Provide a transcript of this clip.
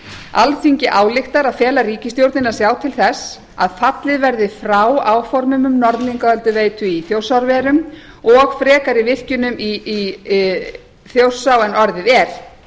alþingi ályktar að fela ríkisstjórninni að sjá til þess að fallið verði frá áformum um norðlingaölduveitu í þjórsárverum og frekari virkjunum í þjórsá en orðið er